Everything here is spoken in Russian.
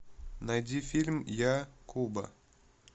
найди фильм я куба